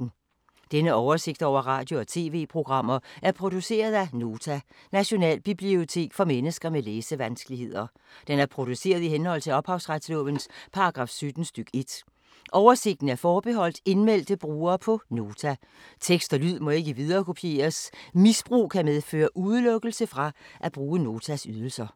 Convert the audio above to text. Denne oversigt over radio og TV-programmer er produceret af Nota, Nationalbibliotek for mennesker med læsevanskeligheder. Den er produceret i henhold til ophavsretslovens paragraf 17 stk. 1. Oversigten er forbeholdt indmeldte brugere på Nota. Tekst og lyd må ikke viderekopieres. Misbrug kan medføre udelukkelse fra at bruge Notas ydelser.